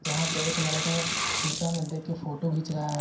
यहां पे एक लड़का शिशा में देख केफोटो घिंच रहा है।